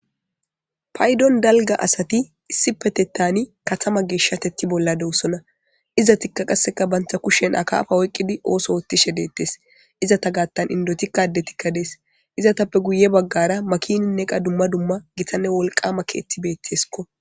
Paydon dalga asati issi petettani katama geeshshatetti bolla dewosona iza tikka qasseka bantha kushen akaafa oyqqidi ooso oottishe deettes izata gaattan indotikkade tikkadees izatappe guye baggara makininneqa dumma dumma gitanne wolqama keetibeetteskko